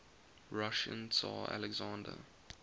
russian tsar alexander